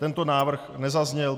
Tento návrh nezazněl.